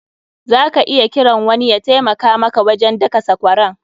Za ka iya kiran wani ya taimaka maka wajen daka sakwaran.